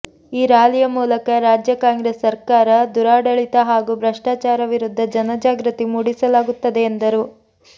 ಈ ರಾಲಿಯ ಮೂಲಕ ರಾಜ್ಯ ಕಾಂಗ್ರೆಸ್ ಸರ್ಕಾರ ದುರಾಡಳಿತ ಹಾಗೂ ಭ್ರಷ್ಟಾಚಾರ ವಿರುದ್ದ ಜನಜಾಗೃತಿ ಮೂಡಿಸಲಾಗುತ್ತದೆ ಎಂದರು